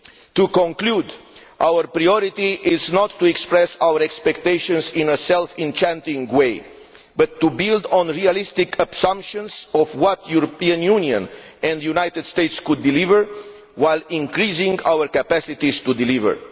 To conclude, our priority is not to express our expectations in a self deceiving way, but to build on realistic assumptions of what the European Union and the United States could deliver, while increasing our capacity to deliver.